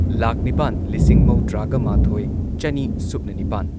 ꯂꯥꯈ ꯅꯤꯄꯥꯟ ꯂꯤꯁꯤꯡ ꯃꯧꯗ꯭ꯔꯥꯒ ꯃꯥꯊꯣꯏ ꯆꯅꯤ ꯁꯨꯞꯅ ꯅꯤꯄꯥꯟ